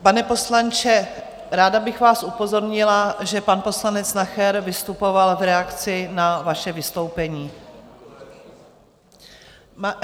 Pane poslanče, ráda bych vás upozornila, že pan poslanec Nacher vystupoval v reakci na vaše vystoupení.